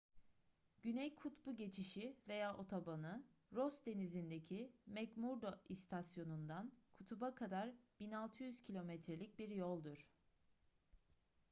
güney kutbu geçişi veya otobanı ross denizi'ndeki mcmurdo i̇stasyonu'ndan kutup'a kadar 1600 km'lik bir yoldur